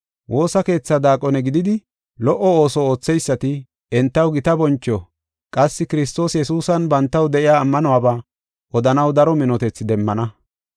Woosa keethaa daaqone gididi, lo77o ooso ootheysati, entaw gita boncho qassi Kiristoos Yesuusan bantaw de7iya ammanuwaba odanaw daro minotethi demmana.